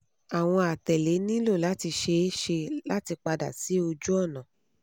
awọn atẹle nilo lati ṣee ṣe lati pada si ojuọna